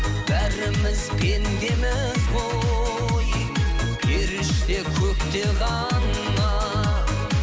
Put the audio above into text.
бәріміз пендеміз ғой періште көкте ғана